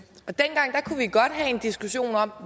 diskussion om